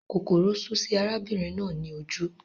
Kòkòrò sú sí arábìnrin náà ní ojú